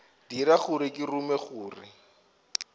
dira gore ke rume gore